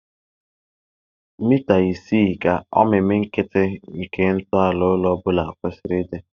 mita isii ka omimi nkịtị nke ntọala ụlọ obula kwesịrị ịdị